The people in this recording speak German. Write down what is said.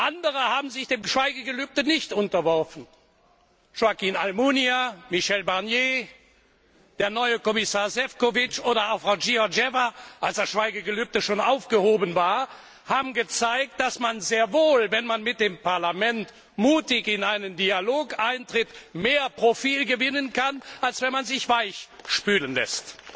Andere haben sich dem Schweigegelübde nicht unterworfen Joaquín Almunia, Michel Barnier, der neue Kommissar Šefčovič oder auch Frau Georgieva, als das Schweigegelübde schon aufgehoben war, haben gezeigt, dass man sehr wohl, wenn man mit dem Parlament mutig in einen Dialog eintritt, mehr Profil gewinnen kann, als wenn man sich weichspülen lässt.